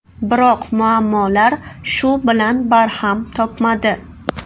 Biroq muammolar shu bilan barham topmadi.